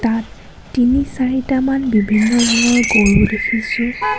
ইয়াত তিনি-চাৰিটামান বিভিন্ন ৰঙৰ গৰু দেখিছোঁ।